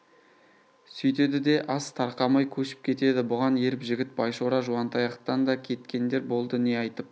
сүйтеді де ас тарқамай көшіп кетеді бұған еріп жігіт байшора жуантаяқтан да кеткендер болды не айтып